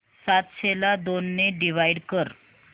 सातशे ला दोन ने डिवाइड कर